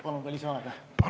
Palun ka lisaaega!